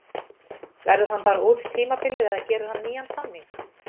Verður hann bara út tímabilið eða gerir hann nýjan samning?